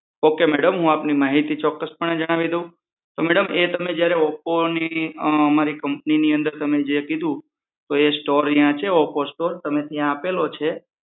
Ok madam હું આપની ચોક્કસપને જણાવી દઉં તો મેડમ તમે જે અમારા ઓપોની અમારી કમ્પનીની અંદર તમે જ્યાં કીધું તે સ્ટોર અહીયાં છે ઓપો સ્ટોર, ત્યાં તમે આપેલ છે